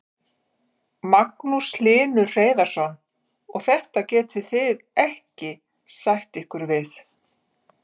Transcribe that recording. Magnús Hlynur Hreiðarsson: Og þetta getið þið ekki sætt ykkur við?